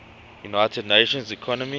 united nations economic